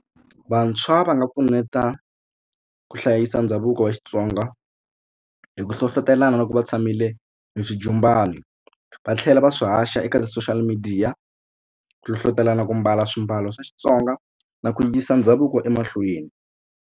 Vantshwa va nga pfuneta ku hlayisa ndhavuko wa Xitsonga hi ku hlohlotelana loko va tshamile hi xijumbani va tlhela va swi haxa eka ti-social media ku hlohlotelana ku mbala swimbalo swa Xitsonga na ku yisa ndhavuko emahlweni.